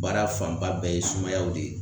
Baara fan ba bɛɛ ye sumayaw de ye.